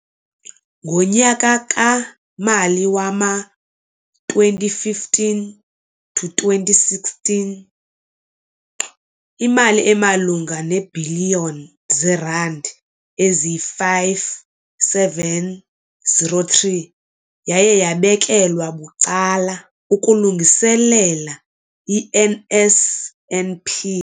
Ngonyaka-mali wama-2015, 16, imali emalunga neebhiliyoni zeerandi eziyi-5 703 yaye yabekelwa bucala ukulungiselela i-NSNP.